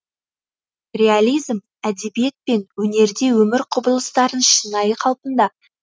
реализм әдебиет пен өнерде өмір құбылыстарын шынайы қалпында